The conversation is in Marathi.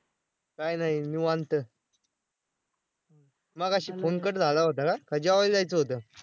काय नाही, निवांत. मगाशी Phone cut झाला होता का? का जेवायला जायचं होतं?